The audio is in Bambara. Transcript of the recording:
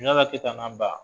Keta n'a ba.